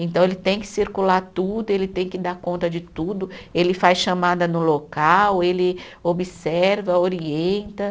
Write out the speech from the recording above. Então, ele tem que circular tudo, ele tem que dar conta de tudo, ele faz chamada no local, ele observa, orienta.